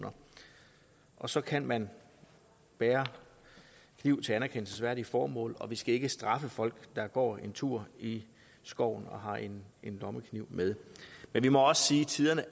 og så kan man bære kniv til anerkendelsesværdige formål og vi skal ikke straffe folk der går en tur i skoven og har en lommekniv med men vi må også sige at tiderne